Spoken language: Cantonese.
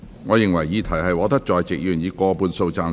我認為議題獲得在席議員以過半數贊成。